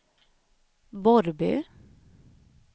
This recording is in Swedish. Borrby